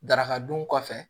Daraka dun kɔfɛ